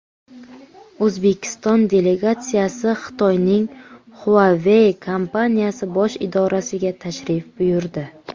O‘zbekiston delegatsiyasi Xitoyning Huawei kompaniyasi bosh idorasiga tashrif buyurdi.